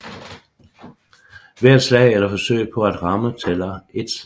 Hvert slag eller forsøg på at ramme tæller ét slag